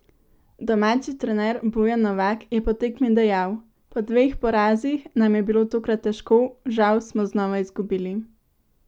Domači trener Bojan Novak je po tekmi dejal: "Po dveh porazih nam je bilo tokrat težko, žal smo znova izgubili.